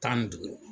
Tan ni duuru